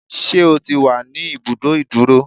Ṣé o ti wà ní ibùdó ìdúró?